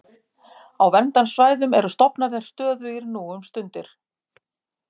Á verndarsvæðum eru stofnarnir stöðugir nú um stundir.